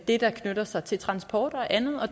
det der knytter sig til transport og andet